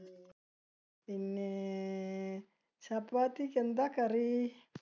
നിന്നേ, chapathi ക്ക് എന്താ കറി?